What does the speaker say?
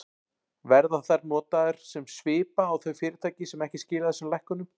Verða þær notaðar sem svipa á þau fyrirtæki sem ekki skila þessum lækkunum?